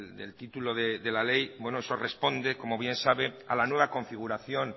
del título de la ley eso responde como bien sabe a la nueva configuración